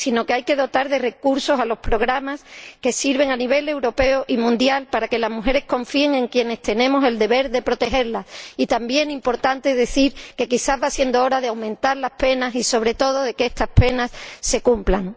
Hay que dotar de recursos a los programas que sirven a nivel europeo y mundial, para que las mujeres confíen en quienes tenemos el deber de protegerlas. También es importante decir que quizá va siendo hora de aumentar las penas y, sobre todo, de que estas penas se cumplan.